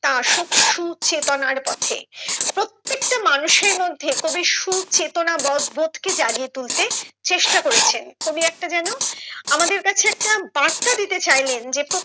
তা আসুক সুচেতনার পথে প্রত্যেকটা মানুষের মধ্যে কবি সুচেতনা বোধ বোধ কে জাগিয়ে তুলতে চেষ্টা করেছেন কবি একটা যেন আমাদের কাছে একটা বার্তা দিতে চাইলেন যে